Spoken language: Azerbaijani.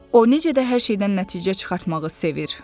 O necə də hər şeydən nəticə çıxartmağı sevir.